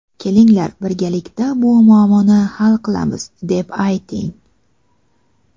kelinglar birgalikda bu muammoni hal qilamiz deb ayting.